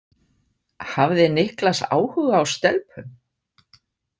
Hafði Niklas áhuga á stelpum?